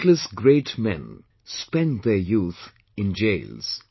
Countless great men spent their youth in jails